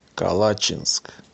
калачинск